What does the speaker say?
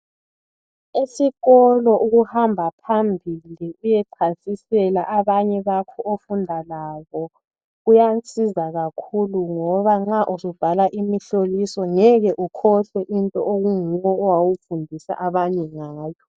Esikolo ukuhamba phambili uyechasisela abanye bakho ofunda labo kuyasiza kakhulu ngoba nxa usubhala umhloliso ngeke ukhohlwe into onguwe owawuyifundisa abanye ngayo .